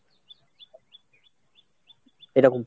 এরকম।